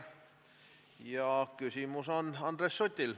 Selle esitab Andres Sutt.